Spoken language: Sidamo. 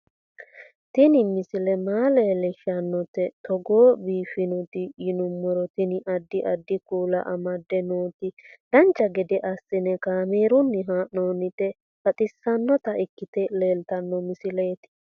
Tini misile maa leellishshannote togo biiffinoti yinummoro tini. addi addi kuula amadde nooti dancha gede assine kaamerunni haa'noonniti baxissannota ikkite leeltanno misileeti